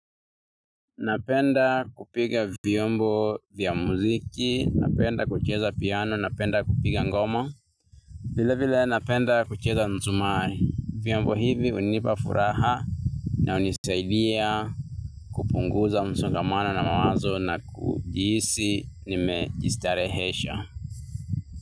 Napenda kupiga vyombo vya muziki, napenda kucheza piano, napenda kupiga ngoma. Vile vile napenda kucheza nzumari. Vyombo hivi hunipa furaha na hunisaidia kupunguza msongamano na mawazo na kujihisi nimejistarehesha.